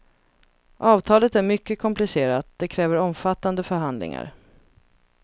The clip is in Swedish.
Avtalet är mycket komplicerat, det kräver omfattande förhandlingar.